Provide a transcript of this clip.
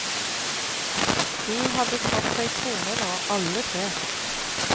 De hadde fått seg koner nå, alle tre.